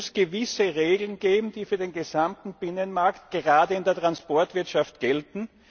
Es muss gewisse Regeln geben, die für den gesamten Binnenmarkt gerade in der Transportwirtschaft gelten.